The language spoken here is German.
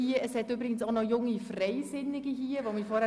Es sind auch noch einige Jungfreisinnigen anwesend.